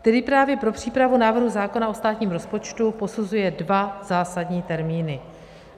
- který právě pro přípravu návrhu zákona o státním rozpočtu posuzuje dva zásadní termíny.